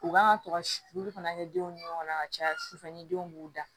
U kan ka to ka olu fana kɛ denw ni ɲɔgɔn ka caya sufɛ ni denw b'u da